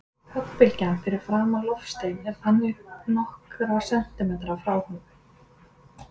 Höggbylgjan fyrir framan loftsteininn er þannig nokkra sentímetra frá honum.